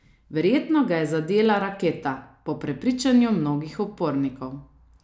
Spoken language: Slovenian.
Verjetno ga je zadela raketa, po prepričanju mnogih upornikov.